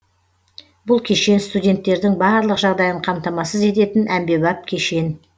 бұл кешен студенттердің барлық жағдайын қамтамасыз ететін әмбебап кешен